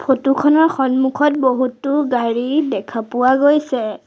Photo খনৰ সন্মুখত বহুতো গাড়ী দেখা পোৱা গৈছে।